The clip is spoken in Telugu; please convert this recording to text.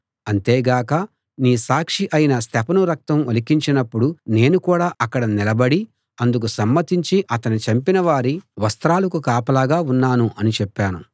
అంతేగాక నీ సాక్షి అయిన స్తెఫను రక్తం ఒలికించినప్పుడు నేను కూడా అక్కడ నిలబడి అందుకు సమ్మతించి అతణ్ణి చంపినవారి వస్త్రాలకు కాపలా ఉన్నాను అని చెప్పాను